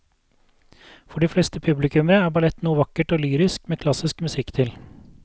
For de fleste publikummere er ballett noe vakkert og lyrisk med klassisk musikk til.